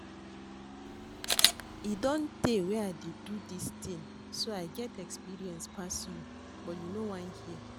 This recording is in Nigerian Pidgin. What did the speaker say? E don tey wey I dey do dis thing so I get experience pass you but you no wan hear